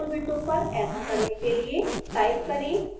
scilab console window पर ऐसा करने के लिए